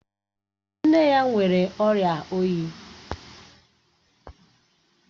Nne ya nwere ọ̀ria oyi